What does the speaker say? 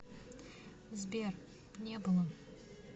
сбер не было